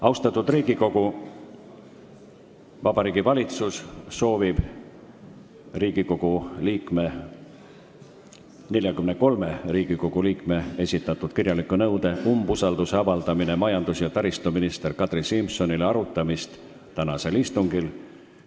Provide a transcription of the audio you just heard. Austatud Riigikogu, Vabariigi Valitsus soovib 44 Riigikogu liikme esitatud kirjaliku nõude "Umbusalduse avaldamine majandus- ja taristuminister Kadri Simsonile" arutamist tänasel istungil.